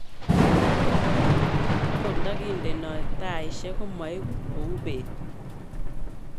agot ndagindenoi taishek komaegu ku beet